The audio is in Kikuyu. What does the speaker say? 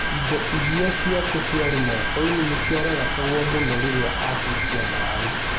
Ironda iria ciake ciarĩ mokoinĩ nĩciararakagwo mũno rĩrĩa ahutagia maaĩ.